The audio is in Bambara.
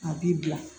A b'i bila